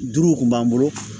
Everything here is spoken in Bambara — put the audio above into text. Duuru kun b'an bolo